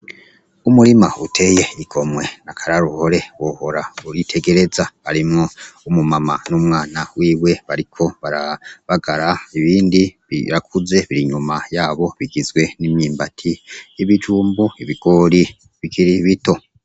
Umurima uteye igomwe niakararuhore bohora uritegereza arimwo umumama n'umwana wiwe bariko barabagara ibindi birakuze biri inyuma yabo bigizwe n'imyimbati y'ibijumbu ibigori bigirai bito.